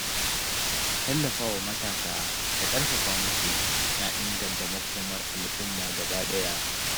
Tallafawa matasa da ƙarfafa musu na inganta makomar al’umma gabaɗaya.